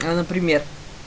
а например